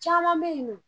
Caman bɛ yen nɔ